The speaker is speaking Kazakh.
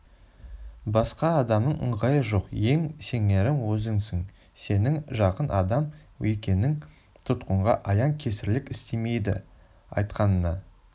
басқа адамның ыңғайы жоқ ең сенерім өзіңсің сенің жақын адам екенің тұтқынға аян кесірлік істемейді айтқаныңа